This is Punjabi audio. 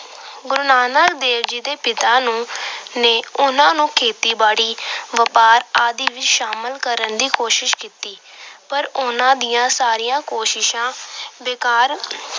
ਗੁਰੂ ਨਾਨਕ ਦੇ ਪਿਤਾ ਨੇ ਉਹਨਾਂ ਨੂੰ ਖੇਤੀਬਾੜੀ, ਵਪਾਰ ਆਦਿ ਵਿੱਚ ਸ਼ਾਮਲ ਕਰਨ ਦੀ ਕੋਸ਼ਿਸ਼ ਕੀਤੀ। ਪਰ ਉਹਨਾਂ ਦੀਆਂ ਸਾਰੀਆਂ ਕੋਸ਼ਿਸ਼ਾਂ ਬੇਕਾਰ